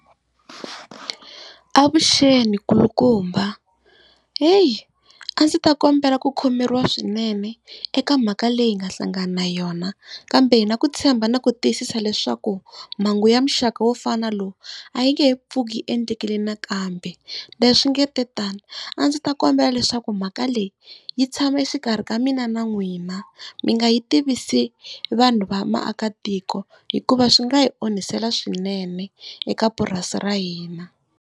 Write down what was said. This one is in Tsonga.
Avuxeni, nkulukumba heyi a ndzi ta kombela ku khomeriwa swinene eka mhaka leyi hi nga hlangana na yona, kambe hi na ku tshemba na ku tiyisisa leswaku mhangu ya muxaka wo fana na lowu a yi nge he pfuki yi endlekile nakambe. Leswi nga te tani a ndzi ta kombela leswaku mhaka leyi yi tshama exikarhi ka mina na n'wina, mi nga yi tivisi vanhu va vaakatiko hikuva swi nga hi onhisela swinene eka purasi ra hina.